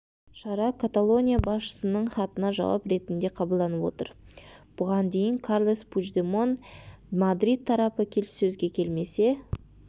шара каталония басшысының хатына жауап ретінде қабылданып отыр бұған дейін карлес пучдемон мадрид тарапы келіссөзге келмесе